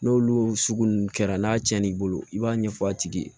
N'olu sugu ninnu kɛra n'a cɛn n'i bolo i b'a ɲɛfɔ a tigi ye